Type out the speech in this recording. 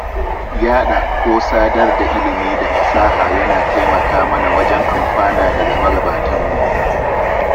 Yaɗa ko sadar da ilimi da fasaha yana taimaka mana wajen amfana daga magabatanmu.